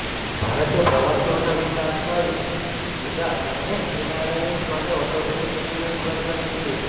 ભારતે પ્રવાસીઓના વિસા અટકાવી દીધા છે અને એનઆરઆઇ માટે ઓટોમેટિક ક્લિયરન્સ બંધ કરી દીધુ છે